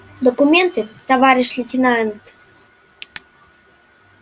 документы товарищ лейтенант